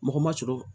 Mɔgɔ ma sɔrɔ